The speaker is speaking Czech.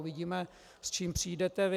Uvidíme, s čím přijdete vy.